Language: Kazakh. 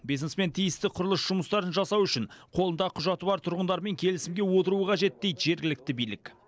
бизнесмен тиісті құрылыс жұмыстарын жасау үшін қолында құжаты бар тұрғындармен келісімге отыруы қажет дейді жергілікті билік